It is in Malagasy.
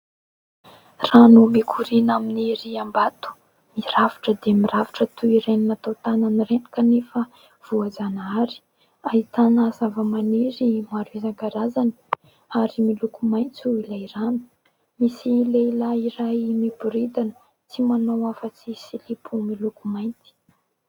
Rano mikoriana amin'ny riam-bato. Mirafitra dia mirafitra toy ireny natao tanana ireny, kanefa voajanahary. Ahitana zava- maniry maro isan'karazany ary miloko maitso ilay rano. Misy lehilahy iray miboridana, tsy manao afa-tsy silipo miloko mainty.